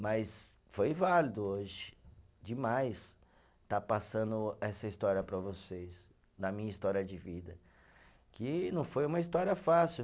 Mas foi válido hoje, demais, estar passando essa história para vocês, da minha história de vida, que não foi uma história fácil.